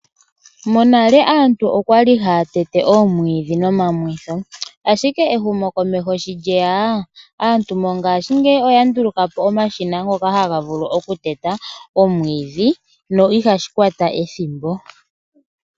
Monale aantu okwali haya tete oomwiidhi nomamwitho, ashike ehumokomeho shi lyeya aantu ngaashigeyi oya ndulukapo omashina ngoka haga vulu oku teta oomwiidhi no ihashi kwata ethimbo.